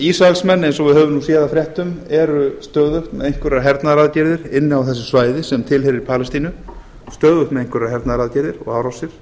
ísraelsmenn eins og við höfum séð af fréttum eru stöðugt með einhverja hernaðaraðgerðir inni á þessu svæði sem tilheyrir palestínu stöðugt með einhverjar hernaðaraðgerðir og árásir